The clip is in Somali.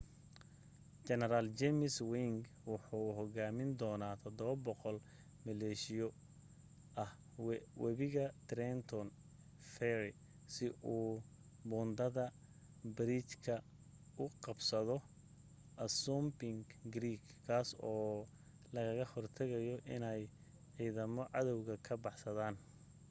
jeneral james ewing wuxuu hogaamin doona 700 maleeshiyo ah weibiga trenton fery si uu buundada/bariijka u qabsado assunpink creek kaas oo lagaga hortagayo iney ciidamada cadawga ka baxsaadaan